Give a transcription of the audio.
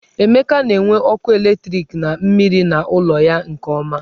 Emeka na-enwe ọkụ eletriki na mmiri n'ụlọ ya nke ọma.